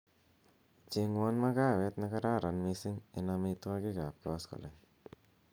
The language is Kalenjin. cheng'won magawet negararan missing en omitwogik ab koskolen